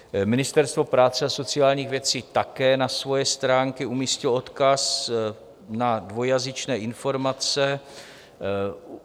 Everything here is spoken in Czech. Ministerstvo práce a sociálních věcí také na svoje stránky umístilo odkaz na dvojjazyčné informace.